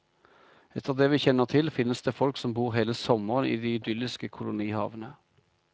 Etter det vi kjenner til, finnes det folk som bor hele sommeren i de idylliske kolonihavene.